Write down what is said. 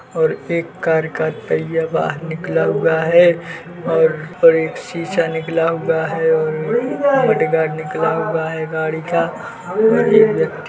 और एक कार का पहिया बाहर निकला हुआ है और एक शीशा निकला हुआ है और मड गार्ड निकला हुआ है गाड़ी का और एक व्यक्ति --